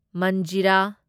ꯃꯟꯖꯤꯔꯥ